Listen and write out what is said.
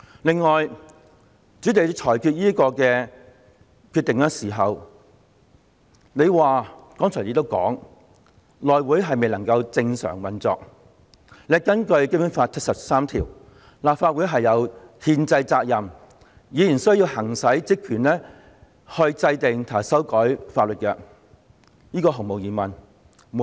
此外，主席，在作出這裁決時，你解釋是由於內會未能正常運作，而且，根據《基本法》第七十三條，立法會有責任行使制定及修改法例的憲制職權。